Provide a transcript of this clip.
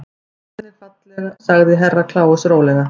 Hvernig falleg sagði Herra Kláus rólega.